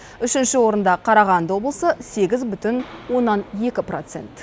үшінші орында қарағанды облысы сегіз бүтін оннан екі процент